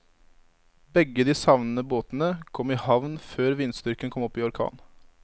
Begge de savnede båtene kom i havn før vindstyrken kom opp i orkan.